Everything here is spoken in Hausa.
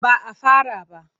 Ba a fara ba.